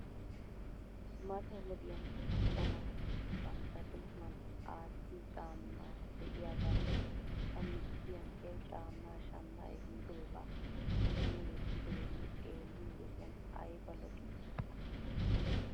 Mata wodiyan macca naati bantta tohuwan aattiyoo caama de'iyaagaa ta michchiyaa he caammaa shamma ehidoogaa son wottidoogee xeeliyoo wodiyan ayba lo'ii?